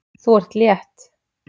Þú ert létt!